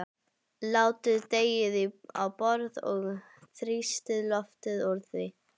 Látið deigið á borð og þrýstið loftinu úr því.